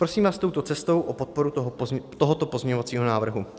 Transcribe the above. Prosím vás touto cestou o podporu tohoto pozměňovacího návrhu.